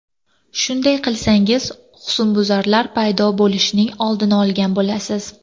Shunday qilsangiz husnbuzarlar paydo bo‘lishining oldini olgan bo‘lasiz.